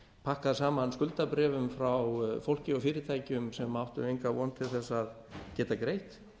pakkað saman skuldabréfum frá fólki og fyrirtækjum sem áttu enga von til að geta greitt